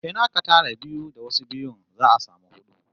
In aka tara biyu da wasu biyun, za'a samu hudu